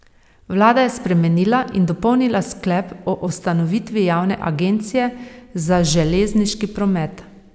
Vlada je spremenila in dopolnila sklep o ustanovitvi Javne agencije za železniški promet.